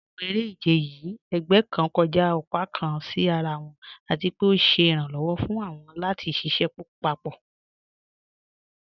Ní àwọn èrè-ìjẹ̀ yìí, ègbẹ̀ kàn kọ́jà ọ̀pá kàn sí àrà wọn, àti pé ọ̀ sẹ̀ iràǹlọ́wọ̀ fún wọn lati ṣiṣẹ papọ.